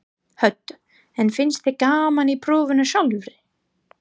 Hödd: En finnst þér gaman í prófinu sjálfu?